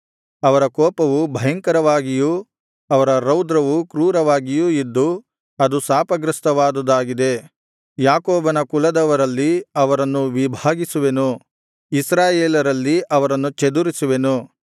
ಅವರ ಕೋಪವು ಭಯಂಕರವಾಗಿಯೂ ಅವರ ರೌದ್ರವು ಕ್ರೂರವಾಗಿಯೂ ಇದ್ದು ಅದು ಶಾಪಗ್ರಸ್ಥವಾದುದಾಗಿದೆ ಯಾಕೋಬನ ಕುಲದವರಲ್ಲಿ ಅವರನ್ನು ವಿಭಾಗಿಸುವೆನು ಇಸ್ರಾಯೇಲರಲ್ಲಿ ಅವರನ್ನು ಚದುರಿಸುವೆನು